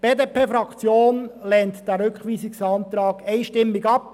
Die BDP-Fraktion lehnt den Rückweisungsantrag einstimmig ab.